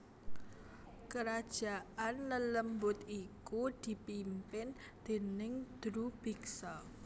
Kerajaan lelembut iku dipimpin déning Drubiksa